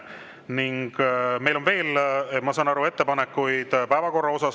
Ning meil on veel, ma saan aru, ettepanekuid päevakorra kohta.